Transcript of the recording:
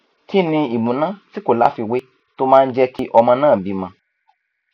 kí ni ìmúná tí kò láfiwé tó máa ń jé kí ọmọ náà bímọ